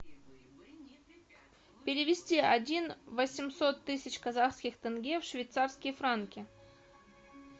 перевести один восемьсот тысяч казахских тенге в швейцарские франки